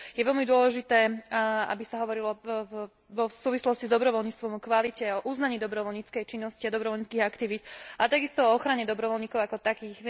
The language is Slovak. Je veľmi dôležité, aby sa hovorilo v súvislosti s dobrovoľníctvom o kvalite, o uznaní dobrovoľníckej činnosti a dobrovoľníckych aktivít, a takisto o ochrane dobrovoľníkov ako takých.